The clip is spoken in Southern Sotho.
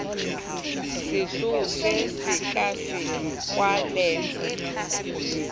sehlooho se sekasekwa le ho